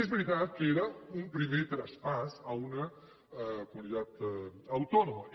és veritat que era un primer traspàs a una comunitat autònoma